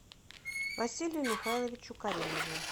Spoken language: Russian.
василию михайловичу каримову